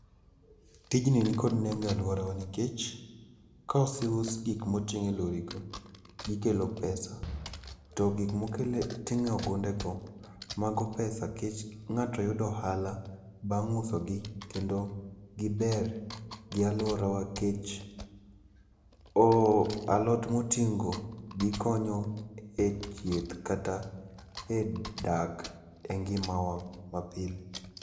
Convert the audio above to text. Tijni nikod nengo e alworawa nikech kose us gik moting' e lorigo, gikelo pesa. To gik moting' e ogundego, mago pesa nikech ng'ato yudo ohala bang' usogi, kendo giber gi alworawa nikech alot moting' go ,gikonyo e chieth kata e dak e ngimawa mapile.